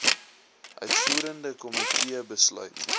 uitvoerende komitee besluit